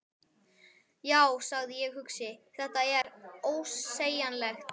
Já, sagði ég hugsi: Þetta er. ósegjanlegt.